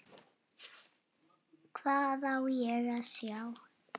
Hvað á ég að sjá?